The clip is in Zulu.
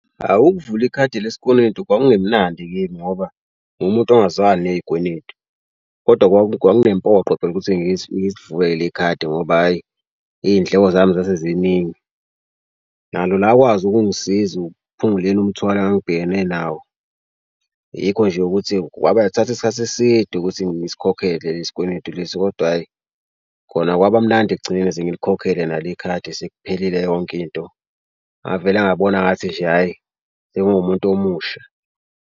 Awu ukuvula ikhadi lesikweletu kwakungemnandi kimi ngoba nguwumuntu ongazwani ney'kweletu kodwa kwakunempoqo phela ukuthi ngisivule leli khadi ngoba hhayi iy'ndlelo zami zase ziningi. Nalo lakwazi ukungisiza ukuphunguleni umthwalo engangibhekene nawo. Yikho nje ukuthi kwabathatha isikhathi eside ukuthi ngisikhokhele lesi kweletu lesi, kodwa hhayi khona kwaba mnandi ekugcineni sengiyikhokhele nalo ikhadi sekuphelile yonke into. Ngavele ngabona engathi nje hhayi senguwumuntu omusha.